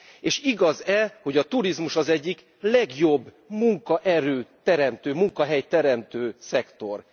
És igaz e, hogy a turizmus az egyik legjobb munkaerő teremtő, munkahelyteremtő szektor?